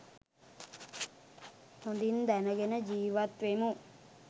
හොඳින් දැනගෙන ජීවත් වෙමු.